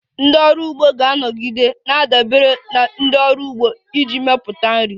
Ndị ọrụ ugbo ga-anọgide na-adabere na ndị ọrụ ugbo iji mepụta nri.